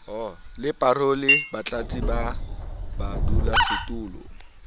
le parole batlatsi ba badulasetulo